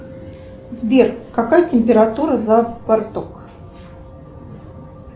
сбер какая температура за парток